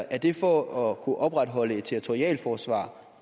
er det for at kunne opretholde et territorialforsvar